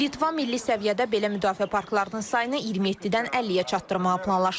Litva milli səviyyədə belə müdafiə parklarının sayını 27-dən 50-yə çatdırmağı planlaşdırır.